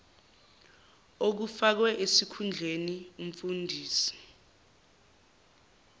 okufakwe esikhundleni umfundisi